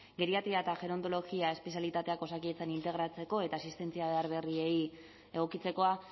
geriatria eta gerontologia espezialitateak osakidetzan integratzeko eta asistentzia behar berriei egokitzekoa